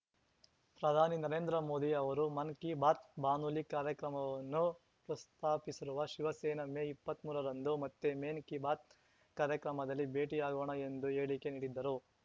ಪ್ರಧಾನಿ ನರೇಂದ್ರ ಮೋದಿ ಅವರ ಮನ್ ಕಿ ಬಾತ್ ಬಾನುಲಿ ಕಾರ್ಯಕ್ರಮವನ್ನು ಪ್ರಸ್ತಾಪಿಸಿರುವ ಶಿವಸೇನೆ ಮೇ ಇಪ್ಪತ್ಮೂರರಂದು ಮತ್ತೆ ಮೆನ್ ಕಿ ಬಾತ್ ಕಾರ್ಯಕ್ರಮದಲ್ಲಿ ಭೇಟಿಯಾಗೋಣ ಎಂದು ಹೇಳಿಕೆ ನೀಡಿದ್ದರು